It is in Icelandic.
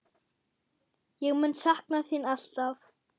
Ég mun sakna þín alltaf.